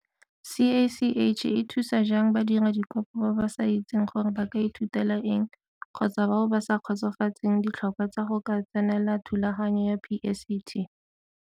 CACH e thusa jang badiradikopo ba ba sa itseng gore ba ka ithutela eng kgotsa bao ba sa kgotsofatseng ditlhokwa tsa go ka tsenela thulaganyo ya PSET?